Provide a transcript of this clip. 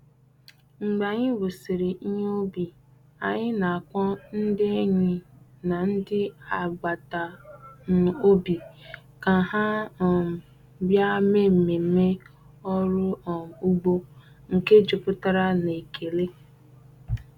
Mgbe anyị wusịrị ihe ubi, anyị na-akpọ ndị enyi na ndị agbata um obi ka ha um bịa mee mmemme ọrụ um ugbo nke jupụtara na ekele.